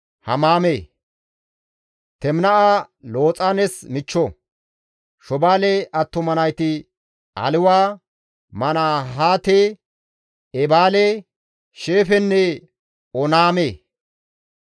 Shobaale attuma nayti Aliwa, Manahaate, Eebaale, Sheefenne Oonname. Xiba7oone attuma nayti Aayanne Aana.